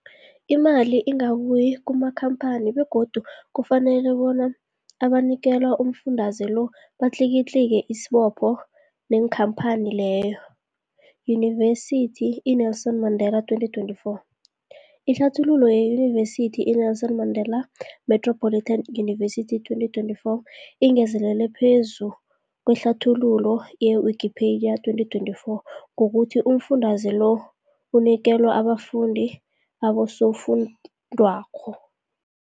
Imali ingabuyi kumakhamphani begodu kufanele labo abanikelwa umfundaze lo batlikitliki isibopho neenkhamphani leyo, Yunivesity i-Nelson Mandela 2024. Ihlathululo yeYunivesithi i-Nelson Mandela Metropolitan University, 2024, ingezelele phezu kwehlathululo ye-Wikipedia, 2024, ngokuthi umfundaze lo unikelwa abafundi nabosofundwakgho.